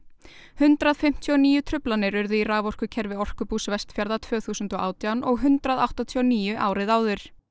hundrað fimmtíu og níu truflanir urðu í raforkukerfi Orkubús Vestfjarða tvö þúsund og átján og hundrað áttatíu og níu árið áður